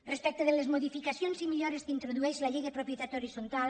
respecte de les modificacions i millores que introdueix la llei de propietat horitzontal